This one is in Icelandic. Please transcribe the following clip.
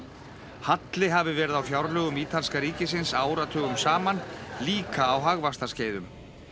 halli hafi verið á fjárlögum ítalska ríkisins áratugum saman líka á hagvaxtarskeiðum